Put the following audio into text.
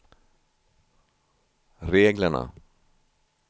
reglerna